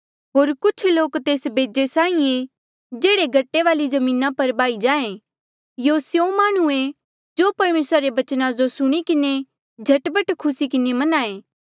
होर कुछ लोक तेस बेजे साहीं ऐें जेह्ड़े गट्टे वाली जमीना पर बाही जाये यूं स्यों माह्णुं ऐें जो परमेसरा रे बचना जो सुणी किन्हें झट पट खुसी किन्हें मन्हां ऐें